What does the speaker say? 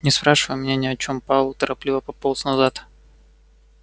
не спрашивай меня ни о чем пауэлл торопливо пополз назад